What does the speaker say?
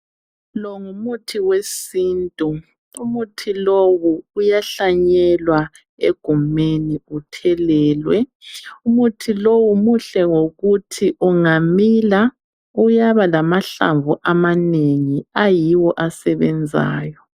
Lo ngumuthi wesintu. Umuthi lowu uyahlanyelwa egumeni uthelelwe. Umuthi lowu muhle ngokuthi ungamila uyaba lamahlamvu amanengi ayiwo asebenzayo.